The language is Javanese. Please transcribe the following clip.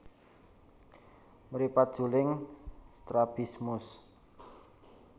Mripat juling strabismus